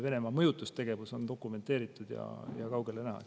Venemaa mõjutustegevus on dokumenteeritud ja kaugele näha.